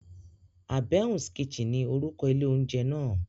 Àbẹ̀ún's kitchen ni orúkọ ilé oúnjẹ náà.